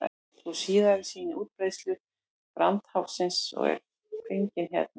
sú síðari sýnir útbreiðslu brandháfsins og er fengin hérna